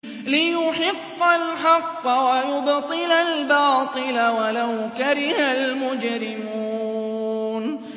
لِيُحِقَّ الْحَقَّ وَيُبْطِلَ الْبَاطِلَ وَلَوْ كَرِهَ الْمُجْرِمُونَ